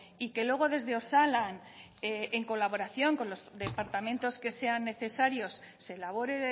y que luego desde osalan en colaboración con los departamentos que sean necesarios se elabore